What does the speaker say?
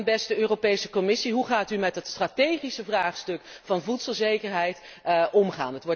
En beste Europese Commissie, hoe gaat u met het strategische vraagstuk van voedselzekerheid om?